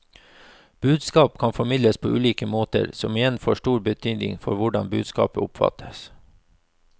Budskap kan formidles på ulike måter, som igjen får stor betydning for hvordan budskapet oppfattes.